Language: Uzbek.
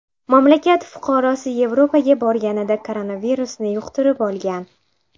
Mamlakat fuqarosi Yevropaga borganida koronavirusni yuqtirib olgan.